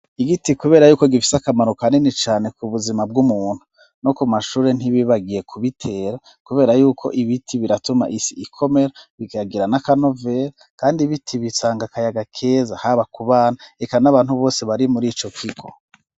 igiti kubera yuko gifise akamaro kanini cane ku buzima bw'umuntu no ku mashuri ntibibagiye kubitera kubera yuko ibiti biratuma isi ikomera bikagira nakanovera kandi ibiti bisanga kayaga keza haba kubana reka n'abantu bose bari muri ico kigo